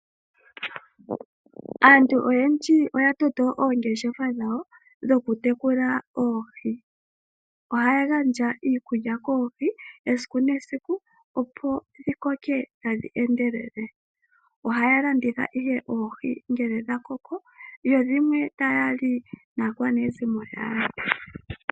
Aantu oyendji oya toto oongeshefa dhawo dhoku tekula oohi. Ohaya gandja iikulya koohi esiku nesiku opo dhi koke tadhi endelele. Ohaya landitha ihe oohi ngele dha koko. Yo dhimwe taya li naakwanezimo yawo.